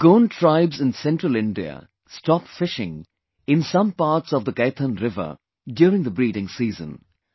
The Gond tribes in Central Indai stop fishing in some parts of Kaithan river during the breeding season